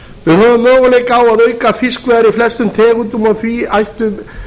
við höfum möguleika á að auka fiskveiðar í flestum tegundum og því ættu